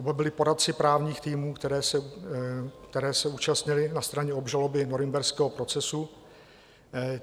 Oba byli poradci právních týmů, které se účastnily na straně obžaloby norimberského procesu.